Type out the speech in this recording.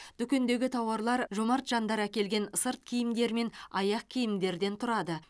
дүкендегі тауарлар жомарт жандар әкелген сырт киімдер мен аяқ киімдерден тұрады